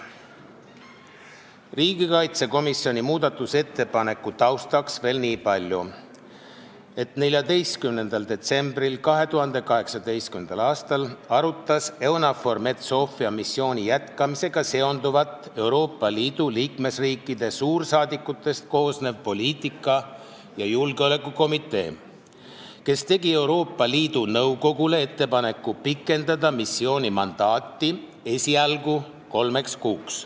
Riigikaitsekomisjoni muudatusettepaneku taustaks veel niipalju, et 14. detsembril 2018. aastal arutas EUNAVFOR Med/Sophia missiooni jätkamisega seonduvat Euroopa Liidu liikmesriikide suursaadikutest koosnev poliitika- ja julgeolekukomitee, kes tegi Euroopa Liidu Nõukogule ettepaneku pikendada missiooni mandaati esialgu kolmeks kuuks.